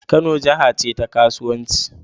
Kano jaha ce ta ƙasauwanci